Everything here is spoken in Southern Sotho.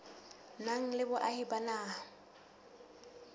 nang le boahi ba naha